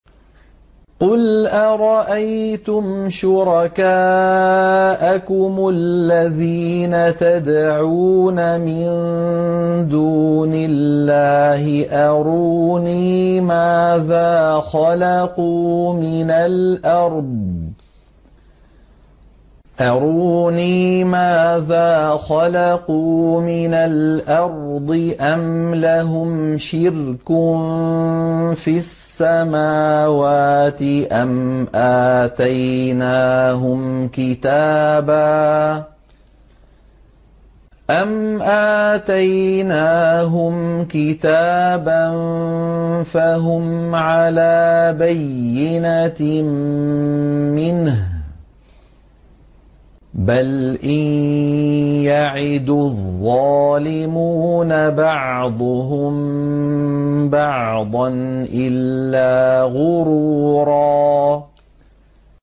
قُلْ أَرَأَيْتُمْ شُرَكَاءَكُمُ الَّذِينَ تَدْعُونَ مِن دُونِ اللَّهِ أَرُونِي مَاذَا خَلَقُوا مِنَ الْأَرْضِ أَمْ لَهُمْ شِرْكٌ فِي السَّمَاوَاتِ أَمْ آتَيْنَاهُمْ كِتَابًا فَهُمْ عَلَىٰ بَيِّنَتٍ مِّنْهُ ۚ بَلْ إِن يَعِدُ الظَّالِمُونَ بَعْضُهُم بَعْضًا إِلَّا غُرُورًا